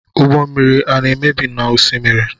Ụgbọ mmiri ana emebi n'osimiri?